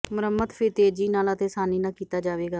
ਮੁਰੰਮਤ ਫਿਰ ਤੇਜ਼ੀ ਨਾਲ ਅਤੇ ਆਸਾਨੀ ਨਾਲ ਕੀਤਾ ਜਾਵੇਗਾ